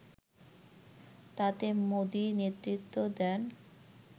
তাতে মোদি নেতৃত্ব দেন